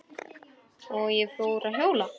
Og ég fór að hjóla.